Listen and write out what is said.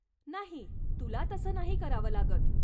नाही. तुला तसं नाही करावं लागत.